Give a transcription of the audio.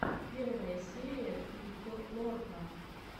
первая серия крипто лорка